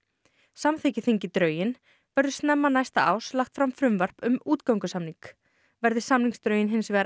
samþykki þingið drögin verður snemma næsta árs lagt fram frumvarp um útgöngusamning verði samningsdrögin hins vegar